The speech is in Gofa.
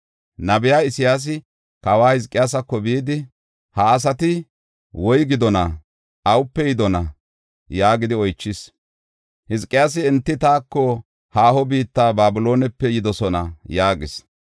Nabey Isayaasi kawa Hizqiyaasako bidi, “Ha asati woygidona? Awupe yidona?” yaagidi oychis. Hizqiyaasi, “Enti taako, haaho biitta Babiloonepe yidosona” yaagis.